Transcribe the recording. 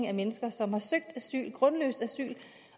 af mennesker som har søgt asyl det grundløst